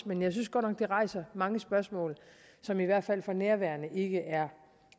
men jeg synes godt nok det rejser mange spørgsmål som i hvert fald for nærværende ikke